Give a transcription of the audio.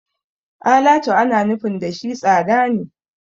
Alatu ana nufin da shi tsada ne.